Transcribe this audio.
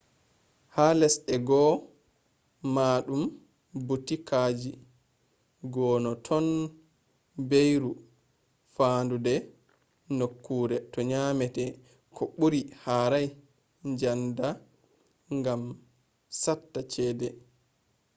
ha lesde goo maɗun ɓutikaji goo no ton beyru fanɗude nokkure to nyamete ko ɓuri harai djanda gam satta chede